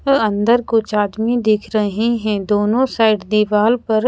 अ अंदर कुछ आदमी दिख रहे है दोनों साइड दीवाल पर--